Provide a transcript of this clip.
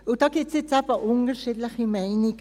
Und da gibt es eben unterschiedliche Meinungen.